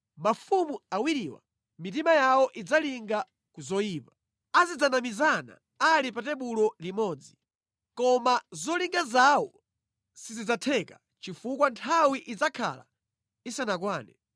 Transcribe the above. Mafumu awiriwa mitima yawo idzalinga ku zoyipa. Azidzanamizana ali pa tebulo limodzi, koma zolinga zawo sizidzatheka chifukwa nthawi idzakhala isanakwane.